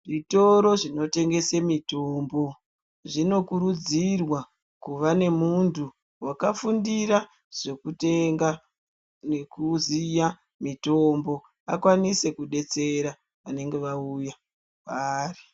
Zvitoro zvinotengese mitombo zvinokurudzirwa kuva nemuntu wakafundira zvekutenga nekuziya mitombo akwanise kudetsera vanenge vauya kwaari.